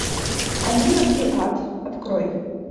они нашли ад открой